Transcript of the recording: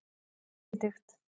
Benidikt